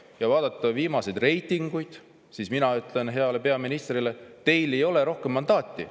Kui vaadata viimaseid reitinguid, siis mina ütlen heale peaministrile, et teil ei ole rohkem mandaati.